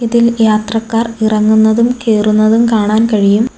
ഇതിൽ യാത്രക്കാർ ഇറങ്ങുന്നതും കേറുന്നതും കാണാൻ കഴിയും.